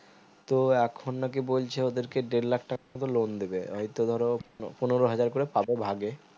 তো এখন নাকি বলছে ওদের কে দেড়লাখ টাকা মতো loan দেবে এই তো ধরো পনেরো হাজার করে পাবে ভাগে